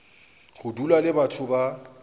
go dula le batho ba